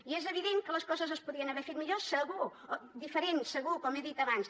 i és evident que les coses es podrien haver fet millor segur o diferent segur com he dit abans